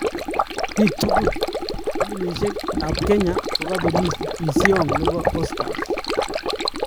Biik tukul: pilimisyeekab Kenya kokabelis pkisyoong nebo Oscars